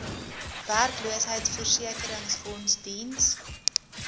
werkloosheidversekeringsfonds diens